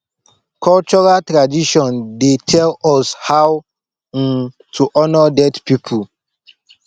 cultural tradition dey tell us how um to honor dead people